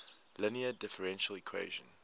linear differential equation